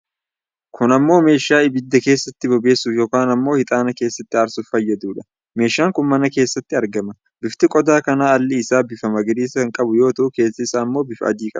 Kun ammoo meeshaa ibidda keessatti bobeessuuf yookiin ammoo hixaana keessatti aarsuuf fayyaduudha. Meeshaan kun mana keessatti argama. Bifti qodaa kana alli isaa bifa magariisa kan qabu yoo ta'u keessi isaa ammoo bifa adii qaba.